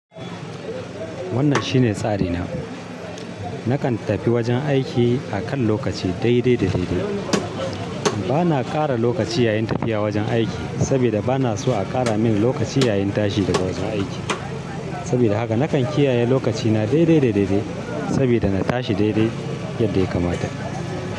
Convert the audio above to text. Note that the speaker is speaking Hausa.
Wannan shine tsari na. Nakan tafi wajen aiki a kan lokaci dai dai da dai dai. Bana ƙara lokaci yayin tafiya wajen aiki saboda bana so a ƙara min lokaci yayin tashi daga wajen aiki. Saboda haka nakan kiyaye lokacina dai dai da dai dai saboda na tashi dai dai Yadsa ya kamata.